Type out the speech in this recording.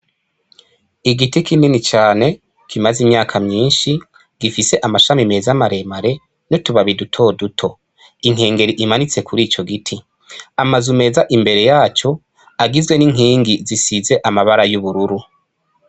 Igiti kinini cane kimaze imyaka myinshi, gifise amashami meza maremare, n'utubabi dutoduto. Inkengeri imanitse kuri ico giti. Amazu meza imbere yaco agizwe n'inkingi zisize amabara y'ubururu.